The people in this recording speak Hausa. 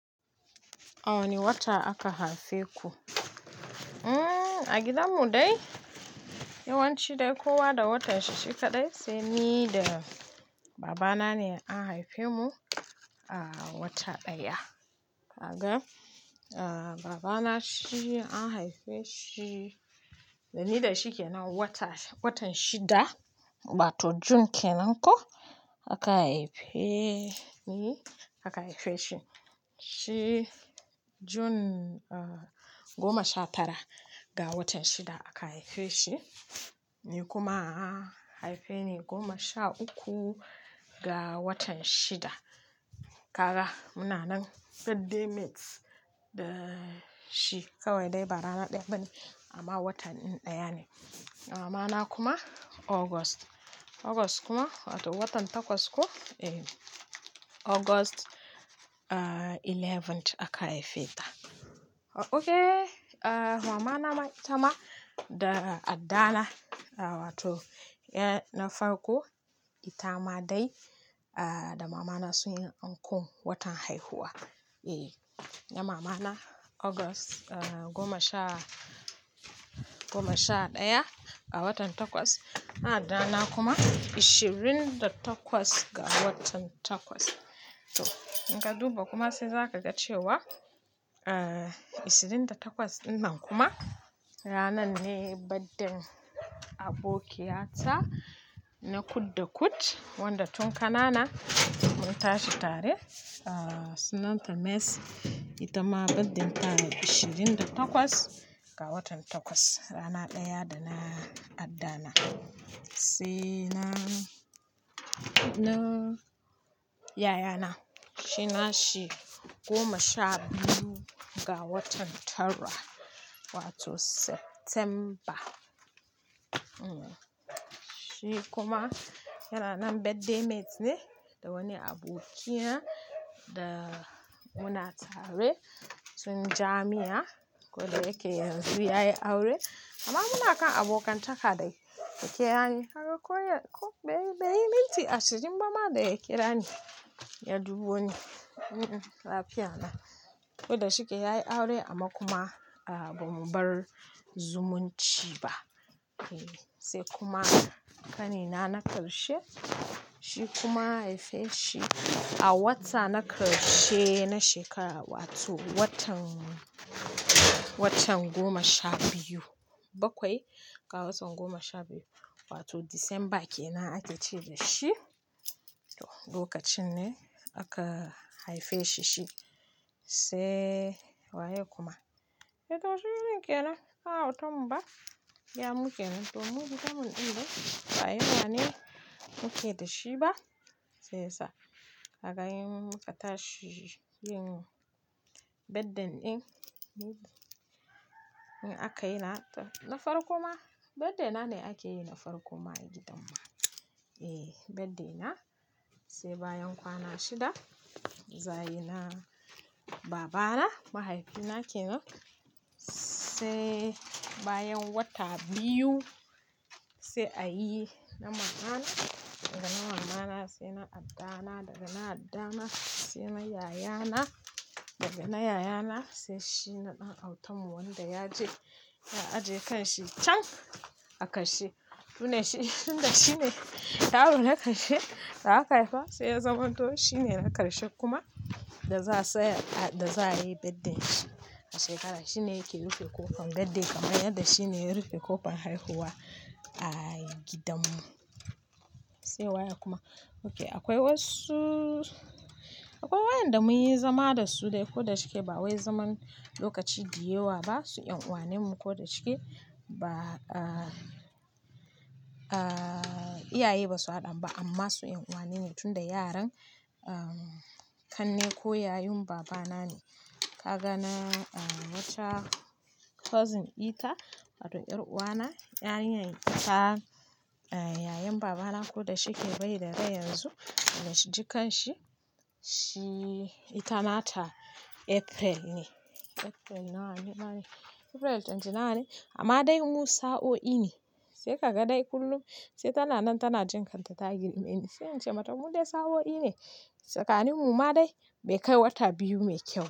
A wane wata aka haife ku? A gidanmu dai yawanci dai kowa da watan shi shi kaɗai. Sai ni da babana ne an haife mu a wata ɗaya. Baba na shi an haife shi, da ni da shi ke nan watan shida, wato June kenan ko aka haife ni aka haife shi. Shi June goma sha tara ga watan shida aka haife shi, ni kuma aka haife ni goma sha uku ga watan shida. Kaga muna nan birthday mates da shi kawai dai ba rana ɗaya ba ne amma watan ɗaya ne. Mamana kuma August, wato watan takwas ko. August eleventh aka haife ta. Okay! Mamana itama da addana wato na farko itama dai da mamana sun yi anko watan haihuwa. Na mamana August goma sha goma sha ɗaya ga watan takwas, addana kuma ishirin da takwas ga watan takwas. In ka duba kuma sai za ka ga cewa ishirin da takwas ɗinnan kuma ranar ne baddan abokiyata na kud-da-kud wanda tun kanana mun tashi tare. Sunanta Mercy itama birth day ta ishirin da takwas ga watan takwas rana ɗaya da na addana. Sai na yayana shi na shi goma sha biyu ga watan tara wato September. Shi kuma yana nan birthday mates ne da wani abokina da muna tare tun jami'a ko da yake yanzu ya yi aure amma muna kan abokantaka da ke ya ne. Kaga ko ɗari minti ashirin kuma da ya kira ni ya dubo ni. Ko da shi ke ya yi aure amma kuma ba mu bar zumunci ba. Sai kuma ƙanina na ƙarshe shi kuma aka haife shi a wata na ƙarshe na shekara wato watan goma sha biyu bakwai ga watan goma sha biyu wato December kenan ake ce da shi. Lokacin ne aka haife shi shi. Sai waye kuma? Da ɗan autan mu kenan. A'a, autan mu ba. Ya mu kenan to muɗamin ɗinnan ba a yi rana ne muke da shi ba? Sai sa'a. Haka yin muka tashi yin birthday ɗin. In aka yi na farko ma, birthday na ne ake yi na farko ma a gidan mu. Birthday na sai bayan kwana shida. Za ayi na babana mahaifina kenan sai bayan wata biyu sai a yi na mamana daga na mamana sai na addana daga na addana sai na yayana daga na yayana sai shi na ɗan autan mu wanda ya je ya ajiye kanshi can a ƙarshe. Tun da shi ne yaro na ƙarshe da aka haifa sai ya zamanto shi ne na ƙarshe kuma da za a yi birthday shi a shekara. Shi ne yake rufe ƙofar birthday kamar yadda shi ne yake rufe ƙofar haihuwa a gidan mu. Sai waye kuma? Okay! Akwai wayen da mun yi zama da su dai ko da shi ke ba wai zaman lokaci da yawa ba. Su ƴan uwan mu ko da shi ke ba iyaye ba su haɗa ba amma su ƴan uwa ne tun da yaran kanne ko yayun babana ne. Kaga na wuce cousin ita wato ƴar uwana. Ƴaƴan itan yayen babana ko da shi ke bai da rai yanzu. Jikan shi ita ma ta April ne. April twenty-nine amma dai mu sa'o'i ne. Sai ka ga dai kullum sai tana nan tana jin kanta ta girme ni. Sai in ce mata mu dai sa'o'i ne tsakanin mu ma dai bai kai wata biyu mai kyau.